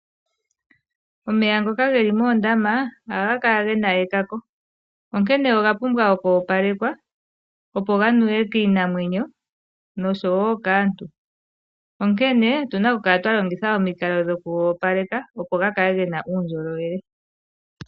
Omeya ngoka ge li moondama ohaga kala ge na ekako, onkene oga pumbwa okwoopalekwa oshoka opo ga nuwe kiinamwenyo, nosho wo kaantu. Onkene otu na okukala twa longitha omikalo dhoku ga opaleka, opo ga kale ge na uundjolowele.